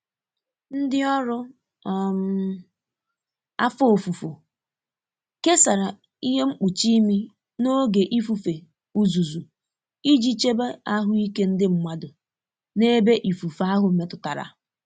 Ndi ọrụ um afọ ofufu kesara ihe mkpuchi ịmị n’oge ifufe uzuzu iji chebe ahụike ndị mmadụ n’ebe ifufe ahụ metụtara